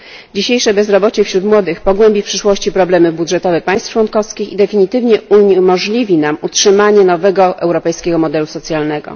Dzisiejsze bezrobocie wśród młodych pogłebi w przyszłości problemy budżetowe państw członkowskich i definitywnie uniemożliwi nam utrzymanie nowego europejskiego modelu socjalnego.